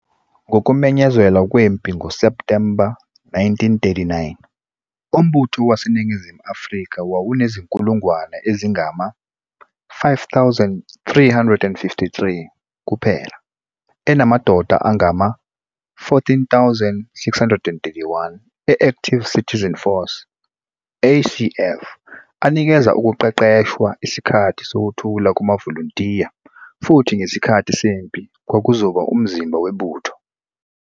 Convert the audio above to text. Ngokumenyezelwa kwempi ngoSepthemba 1939, uMbutho waseNingizimu Afrika wawunezinkulungwane ezingama-5 353 kuphela, enamadoda angama-14,631 e-Active Citizen Force, ACF, anikeze ukuqeqeshwa isikhathi sokuthula kumavolontiya futhi ngesikhathi sempi kwakuzoba umzimba webutho.